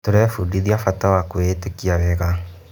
Tũrebundithia bata wa kwĩĩtĩkia wega.